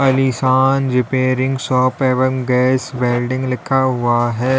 अलीशान repairing shop एवंम gas welding लिखा हुआ है।